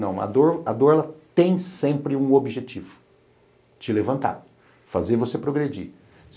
Não, a dor a dor ela tem sempre um objetivo, te levantar, fazer você progredir.